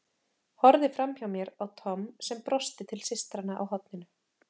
Horfði framhjá mér á Tom sem brosti til systranna á horninu.